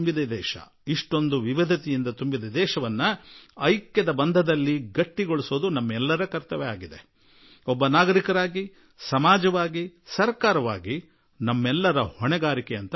ವೈವಿಧ್ಯತೆಗಳಿಂದ ತುಂಬಿರುವ ದೇಶವನ್ನು ಏಕತೆಯ ಬಂಧನದಲ್ಲಿ ಇಟ್ಟುಕೊಳ್ಳುವುದಕ್ಕೆ ಪ್ರಜೆಗಳಾಗಿ ಸಮಾಜವಾಗಿ ಸರ್ಕಾರವಾಗಿ ನಮ್ಮ ಎಲ್ಲರ ಉತ್ತರದಾಯಿತ್ವ ಇದೆ